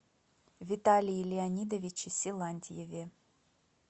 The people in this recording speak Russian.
виталии леонидовиче силантьеве